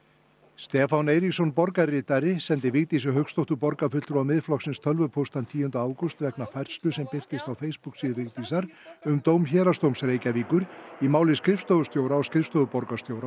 Stefán Eiríksson borgarritari sendi Vigdísi Hauksdóttur borgarfulltrúa Miðflokksins tölvupóst þann tíunda ágúst vegna færslu sem birtist á Facebook síðu Vigdísar um dóm Héraðsdóms Reykjavíkur í máli skrifstofustjóra á skrifstofu borgarstjóra og